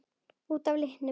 Út af litnum?